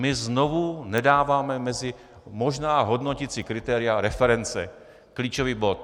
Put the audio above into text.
My znovu nedáváme mezi možná hodnoticí kritéria reference, klíčový bod.